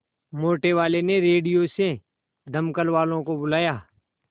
मोटेवाले ने रेडियो से दमकल वालों को बुलाया